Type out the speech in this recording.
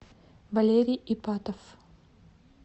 валерий ипатов